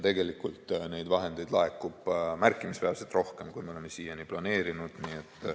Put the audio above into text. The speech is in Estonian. Tegelikult neid vahendeid laekub märkimisväärselt rohkem, kui me oleme siiani planeerinud.